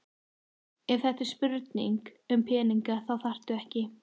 Ef þetta er spurning um peninga þá þarftu ekki.